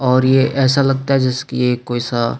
और ये ऐसा लगता है जैसेकी कोई सा--